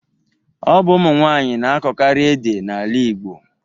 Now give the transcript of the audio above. Ọ bụ ụmụ nwanyị na akọkarị ede n'ala Igbo